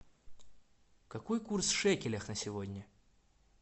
какой курс в шекелях на сегодня